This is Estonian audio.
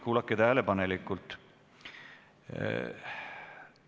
Kuulake tähelepanelikult.